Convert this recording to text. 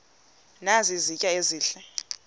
nazi izitya ezihle